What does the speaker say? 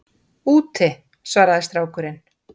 Úti- svaraði strákurinn.